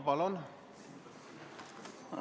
Palun!